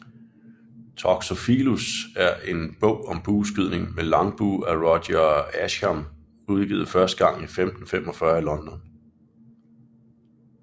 Toxophilus er en bog om bueskydning med langbue af Roger Ascham udgivet første gang i 1545 i London